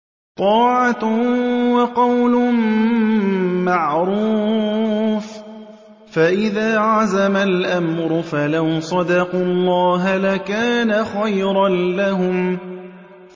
طَاعَةٌ وَقَوْلٌ مَّعْرُوفٌ ۚ فَإِذَا عَزَمَ الْأَمْرُ فَلَوْ صَدَقُوا اللَّهَ لَكَانَ خَيْرًا لَّهُمْ